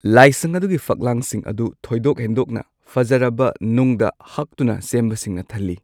ꯂꯥꯏꯁꯪ ꯑꯗꯨꯒꯤ ꯐꯛꯂꯥꯡꯁꯤꯡ ꯑꯗꯨ ꯊꯣꯏꯗꯣꯛ ꯍꯦꯟꯗꯣꯛꯅ ꯐꯖꯔꯕ ꯅꯨꯡꯗ ꯍꯛꯇꯨꯅ ꯁꯦꯝꯕꯁꯤꯡꯅ ꯊꯜꯂꯤ꯫